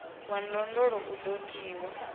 wa ndondolo u do tiwa